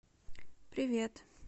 привет